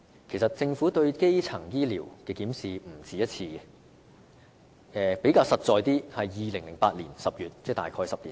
其實，政府曾不止一次對基層醫療進行檢視，較具體的例子是在2008年10月，即大概10年前。